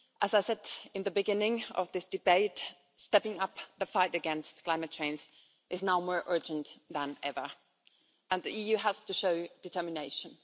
As I said at the beginning of this debate, stepping up the fight against climate change is now more urgent than ever and the EU has to show determination.